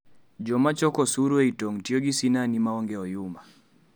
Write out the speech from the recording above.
Jomachoko osuru ei tong tiyo gi sinani maong'e oyuma